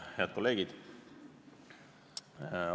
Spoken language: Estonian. Head kolleegid!